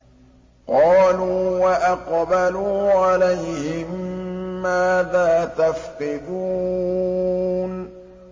قَالُوا وَأَقْبَلُوا عَلَيْهِم مَّاذَا تَفْقِدُونَ